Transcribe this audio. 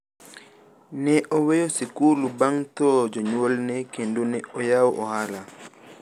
ne oweyo sikul bang' tho jonyuol ne kendo ne oyawo ohala